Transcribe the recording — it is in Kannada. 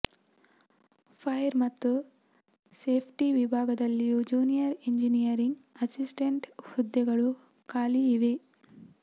ಫೈರ್ ಮತ್ತು ಸೇಫ್ಟಿ ವಿಭಾಗದಲ್ಲಿಯೂ ಜೂನಿಯರ್ ಎಂಜಿನಿಯರಿಂಗ್ ಅಸಿಸ್ಟೆಂಟ್ ಹುದ್ದೆಗಳು ಖಾಲಿ ಇವೆ